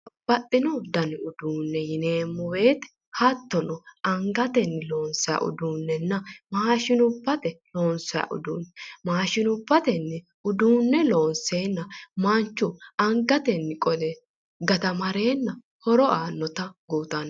Baxxino dani uduunne yineemmo woyite hattono angatenni loonsayi uduunnenna maashinubbate loonsayi uduunne. Maashinubbatenni uduunne loonseenna manchu angatenni qole gatamareenna horo aannota kultanno.